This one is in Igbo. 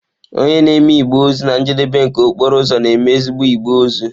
Onye na-eme igbe ozu na njedebe nke okporo ụzọ, na-eme ezigbo igbe ozu.